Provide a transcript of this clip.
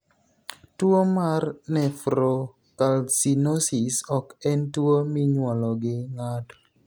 Tuwo mar Nephrocalcinosis ok en tuwo minyuolo gi ng'ato.